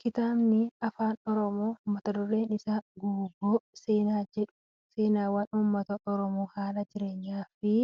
Kitaabni afaan oromoo mata dureen isaa Guuboo seenaa jedhu seenaawwan uummata oromoo haala jireenya isaa fi